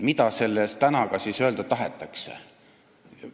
" Mida selle "tänaga" öelda tahetakse?